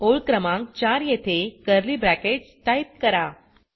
ओळ क्रमांक 4 येथे कर्ली ब्रॅकेट्स टाइप करा